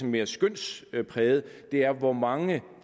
mere skønspræget er hvor mange